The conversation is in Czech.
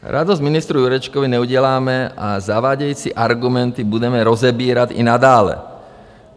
Radost ministru Jurečkovi neuděláme a zavádějící argumenty budeme rozebírat i nadále.